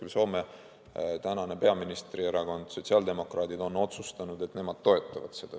Samas Soome praegune peaministri erakond, sotsiaaldemokraadid, on otsustanud, et nemad toetavad seda.